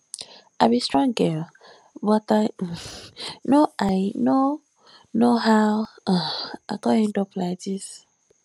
i be strong girl but i um no i um no know how um i come end up like dis